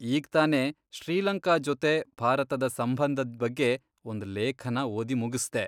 ಈಗ್ತಾನೆ ಶ್ರೀಲಂಕಾ ಜೊತೆ ಭಾರತದ ಸಂಬಂಧದ್ ಬಗ್ಗೆ ಒಂದ್ ಲೇಖನ ಓದಿ ಮುಗಿಸ್ದೆ.